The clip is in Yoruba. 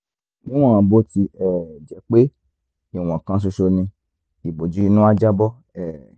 lẹ́yìn náà níwọ̀n bó ti um jẹ́ pé ìwọ̀n kan ṣoṣo ni ìbòjú inú á jábọ́ um